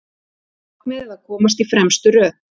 Markmiðið að komast í fremstu röð